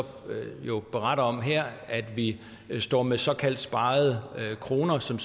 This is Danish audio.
beretter om her at vi står med såkaldt sparede kroner som